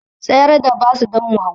Tsayar da bas don mu hau